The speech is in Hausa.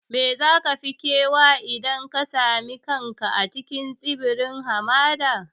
Me za ka fi kewa idan ka sami kanka a cikin tsibirin hamada?